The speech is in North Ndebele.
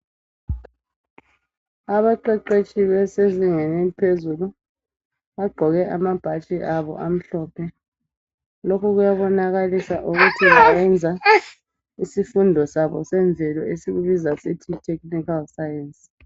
Abaqeqetshi besezingeni eliphezulu ,bagqoke amabhatshi abo amhlophe. Lokhu kuyabonakalisa ukuthi bayenza isifundo sabo semvelo esikubiza sithi Yi technical science.